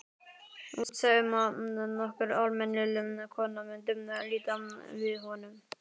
Útséð um að nokkur almennileg kona mundi líta við honum.